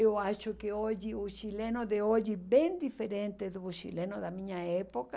Eu acho que hoje o chileno de hoje é bem diferente do chileno da minha época.